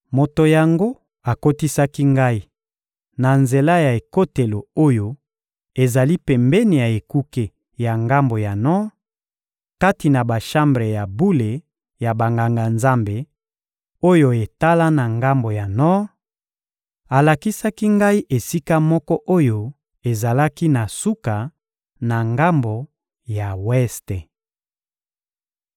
Moto yango akotisaki ngai, na nzela ya ekotelo oyo ezali pembeni ya ekuke ya ngambo ya nor, kati na bashambre ya bule ya Banganga-Nzambe, oyo etala na ngambo ya nor; alakisaki ngai esika moko oyo ezalaki na suka, na ngambo ya weste.